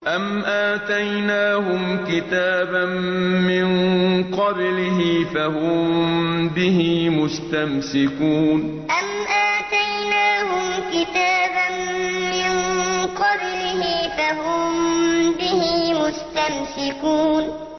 أَمْ آتَيْنَاهُمْ كِتَابًا مِّن قَبْلِهِ فَهُم بِهِ مُسْتَمْسِكُونَ أَمْ آتَيْنَاهُمْ كِتَابًا مِّن قَبْلِهِ فَهُم بِهِ مُسْتَمْسِكُونَ